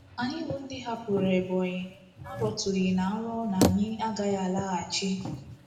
Anyị bụ́ ndị hapụrụ Ebonyi arọtụghị ná nrọ na anyị agaghị alaghachi.